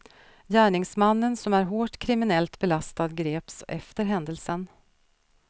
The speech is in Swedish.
Gärningsmannen som är hårt kriminellt belastad greps efter händelsen.